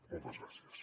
moltes gràcies